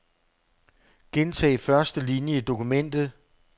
Gentag første linie i dokumentet.